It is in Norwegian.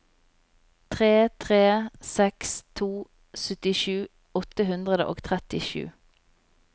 tre tre seks to syttisju åtte hundre og trettisju